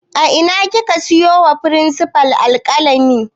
A ina kika siyo wa firinsifal alƙalami